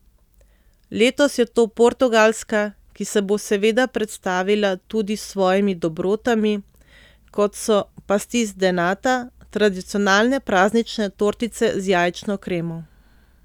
Letos je to Portugalska, ki se bo seveda predstavila tudi s svojimi dobrotami, kot so pasteis de nata, tradicionalne praznične tortice z jajčno kremo.